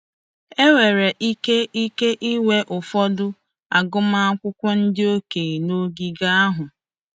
Enwere ike ike ịnwe ụfọdụ agụmakwụkwọ ndị okenye n'ogige ahụ.